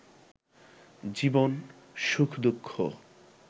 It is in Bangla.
জীবন, সুখ-দুঃখ